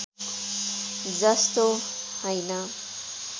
जस्तो हैन